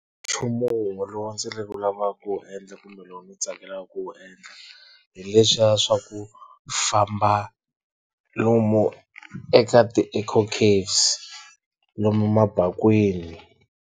Nchumu wun'we lowu ndzi wu lavaka ku wu endla kumbe lowu ni tsakelaka ku wu endla hi leswiya swaku famba lomu eka ti-Eco Caves lomu mabakwini.